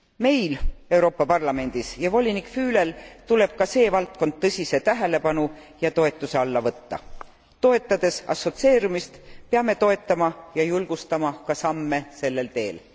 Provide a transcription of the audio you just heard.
Meil Euroopa Parlamendis ja volinik Fülel tuleb ka see valdkond tõsise tähelepanu ja toetuse alla võtta. Toetades assotsieerumist, peame toetama ja julgustama ka samme sellel teel.